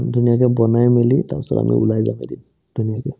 উম্, দিনতে বনাই মিলি তাৰপিছত আমি ওলাই যাব দিম ধুনীয়াকে